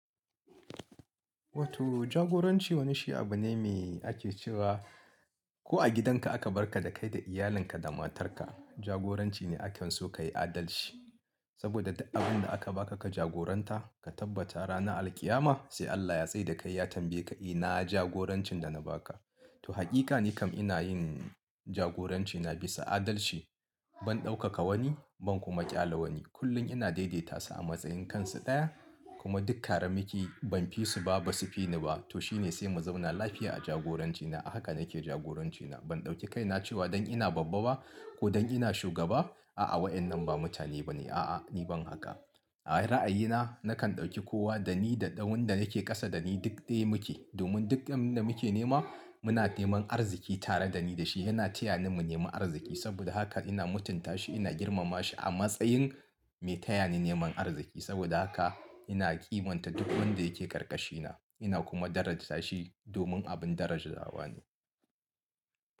Wato jagoranci wani shi abu ne mai ake cewa ko a gidanka aka barka da kai da iyalinka da matarka jagoranci ne a kan so ka yi adalci. Saboda duk abin da aka baka ka jagoranta ka tabbata ranar alqiyama sai Allah ya tsai da kai ya tambaye ka, "ina jagorancin da na baka?" To hakika nikam ina yin jagoranci na bisa adalci. Ban ɗaukaka wani ban kuma ƙyale wani. Kullum ina daidai tasu a matsayin kansu daya kuma duk ƙara miki ban fi su ba ba su fi ni ba. To shi ne sai mu zauna lafiya a jagorancina. AHaka nake jagorancina. Ban ɗauki kaina cewa don ina babba ba ko don ina shugaba. A'a wayannan ba mutane ba ne ba. A'a ni ban haka. A ra'ayina nakan ɗauki kowa da ni da ɗawanda nake ƙasa da ni duk ɗaya muke. Domin duk abin da muke nema muna neman arziki tare da ni da shi yana taya ni mu nemi arziki. Saboda haka ina mutuntashi ina girma ma shi a matsayin mai tayani neman arziki saboda haka ina kimanta duk wanda yake ƙarƙashina ina kuma daraja shi domin abin darajawa ne.